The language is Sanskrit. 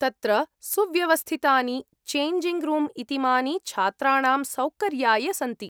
तत्र सुव्यवस्थितानि चेञ्जिङ्ग् रूम् इतीमानि छात्राणां सौकर्याय सन्ति।